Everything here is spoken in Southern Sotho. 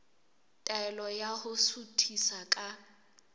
taelo ya ho suthisa ka